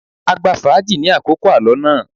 A gbá fàájì ni àkókò alọ náà.